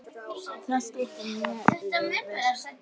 Það styttir mjög leiðir.